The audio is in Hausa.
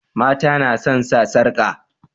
Mata nasan sa sarƙa